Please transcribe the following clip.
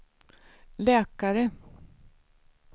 läkare